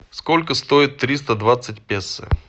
сколько стоит триста двадцать песо